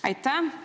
Aitäh!